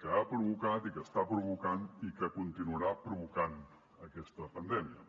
que ha provocat i que està provocant i que continuarà provocant aquesta pandèmia